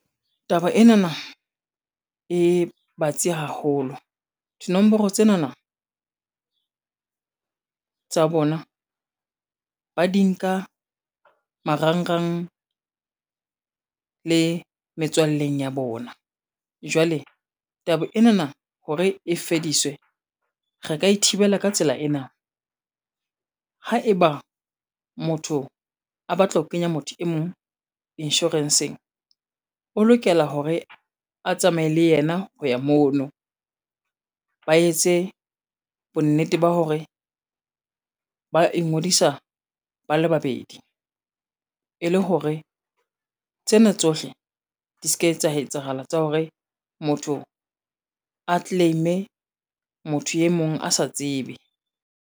Taba enana, e batsi haholo dinomoro tsenana tsa bona, ba di nka marangrang le metswalleng ya bona, jwale taba enana hore e fediswe re ka e thibela ka tsela ena, haeba motho a batla ho kenya motho e mong insurance-ng, o lokela hore a tsamaye le yena ho ya mono. Ba etse bonnete ba hore ba ingodisa bale babedi, e le hore tsena tsohle di ska, etsa etsahala tsa hore motho a claim-e motho e mong a sa tsebe.